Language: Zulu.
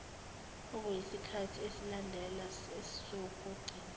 okuyisikhathi esilandela esokugcina